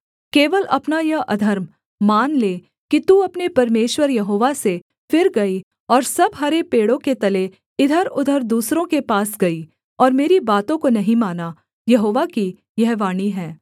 केवल अपना यह अधर्म मान ले कि तू अपने परमेश्वर यहोवा से फिर गई और सब हरे पेड़ों के तले इधरउधर दूसरों के पास गई और मेरी बातों को नहीं माना यहोवा की यह वाणी है